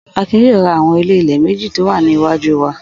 Akin yóò ra àwọn ilé-ilẹ̀ méjì tó wà ní iwájú wa.